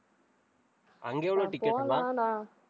அங்க எவ்ளோ ticket லாம்